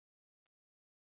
Angela